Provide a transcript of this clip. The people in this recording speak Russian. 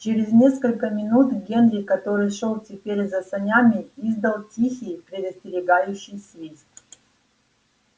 через несколько минут генри который шёл теперь за санями издал тихий предостерегающий свист